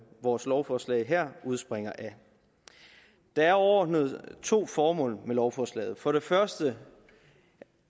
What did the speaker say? vores lovforslag her udspringer af der er overordnet to formål med lovforslaget for det første